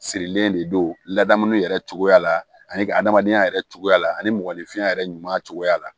Sirilen de don ladamuni yɛrɛ cogoya la ani ka adamadenya yɛrɛ cogoya la ani mɔgɔninfinya yɛrɛ ɲuman cogoya la